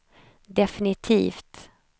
definitivt